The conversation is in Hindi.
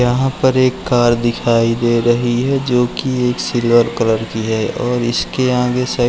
यहाँ पर एक कार दिखाई दे रही है जो कि एक सिल्वर कलर की है और इसके आगे स --